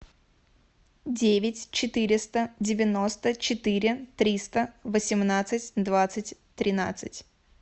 девять четыреста девяносто четыре триста восемнадцать двадцать тринадцать